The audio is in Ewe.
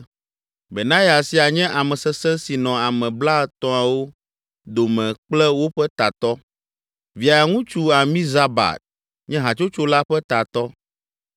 Benaya sia nye ame sesẽ si nɔ Ame Blaetɔ̃awo dome kple woƒe tatɔ. Via ŋutsu Amizabad nye hatsotso la ƒe tatɔ.